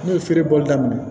Ne ye feere bɔli daminɛ